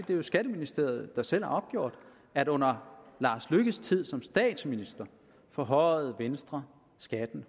det er skatteministeriet selv der har opgjort at under herre lars løkke rasmussens tid som statsminister forhøjede venstre skatten